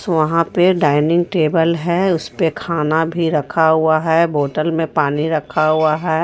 वहां पे dining table है उसपे खाना भी रखा हुआ है बोटल में पानी रखा हुआ है.